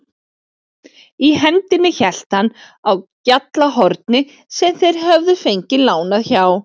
Í hendinni hélt hann á GJALLARHORNI sem þeir höfðu fengið lánað hjá